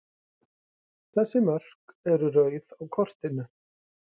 Þessi mörk eru rauð á kortinu.